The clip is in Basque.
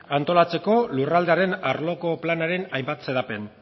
antolatzeko lurraldearen arloko planaren hainbat xedapen